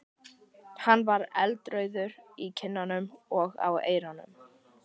Hann var eldrauður í kinnunum og á eyrunum.